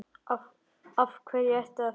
Af hverju ertu að þessu?